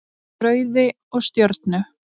Rauði og Stjörnu.